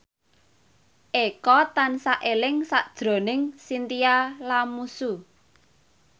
Eko tansah eling sakjroning Chintya Lamusu